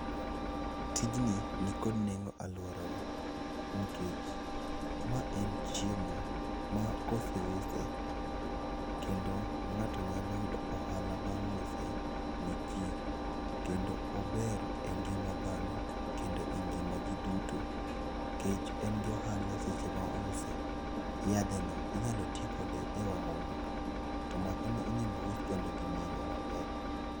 Tijni nikod nengo e alworawa nikech ma en chiemo ma kose use, kendo ng'ato nyalo yudo ohala bang' uso ni ji. Kendo ober e ngiam dhano kendo e ngima ji duto nikech en gi ohala seche ma ouse. Yadheno inyalo ti kode e wang'o maka. To makano inyalo us kendo gi nengo maber.